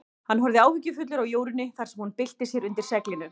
Hann horfði áhyggjufullur á Jórunni þar sem hún bylti sér undir seglinu.